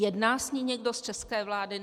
Jedná s ní někdo z české vlády?